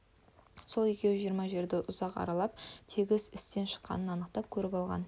сол екеуі жиырма жерді ұзақ аралап тегіс істен шыққанын анықтап көріп алған